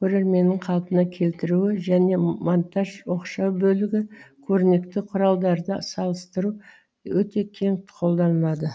көрерменнің қалпына келтіруі және монтаж оқшау бөлігі көрнекті құралдарды салыстыру өте кең қолданылады